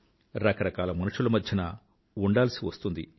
రకరకాల మనుషుల మధ్యన ఉందాల్సి వస్తుంది